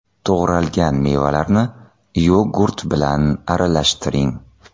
To‘g‘ralgan mevalarni yogurt bilan aralashtiring.